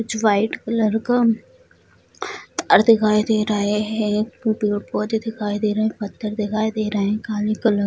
कुछ white colour का तार दिखाई दे रहे है | पेड़-पौधे दिखाई दे रहे हैं पत्थर दिखाई दे रहे हैं काले कलर --